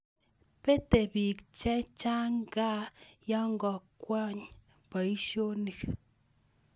bente biik chechang gaa yekangowany boisionik